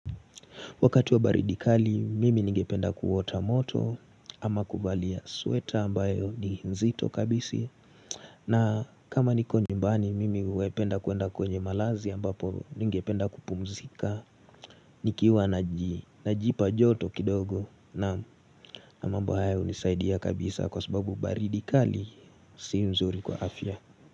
Wakati wa baridi kali, mimi ningependa kuota moto ama kuvalia sweta ambayo ni nzito kabisi. Na kama niko nyumbani, mimi hupenda kwenda kwenye malazi ambapo ningependa kupumzika. Nikiwa na ji, na ji pa joto kidogo na mambo hayo hunisaidia kabisa kwa sababu baridi kali si nzuri kwa afya.